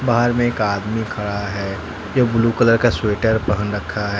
बाहर में एक आदमी खड़ा है जो ब्लू कलर का स्वेटर पहन रखा है।